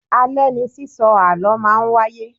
Alẹ̀ ní sísọ àlọ́ máa ń wáyé